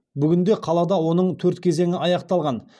бүгінде қалада оның төрт кезеңі аяқталған